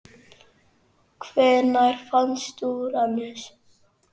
Hvenær fannst Úranus?